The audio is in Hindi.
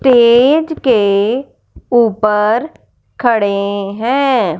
तेज के ऊपर खड़े हैं।